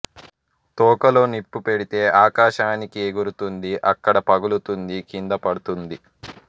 తోకలో నిప్పు పెడితే ఆకాశానికి ఎగురుతుంది అక్కడ పగులుతుంది కింద పడుతుంది